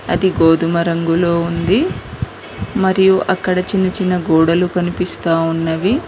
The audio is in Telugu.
అది గోధుమ రంగులో ఉంది మరియు అక్కడ చిన్న చిన్న గోడలు కనిపిస్తా ఉన్నవి.